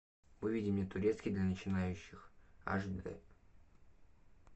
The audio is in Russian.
выведи мне турецкий для начинающих аш дэ